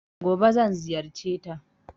Gobe zan ziyarceta.